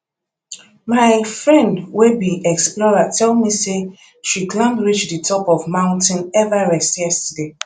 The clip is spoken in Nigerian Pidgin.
my friend wey be explorer tell me say she climb reach the top of mount everest yesterday